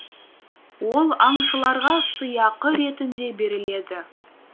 ол аңшыларға сыйақы ретінде беріледі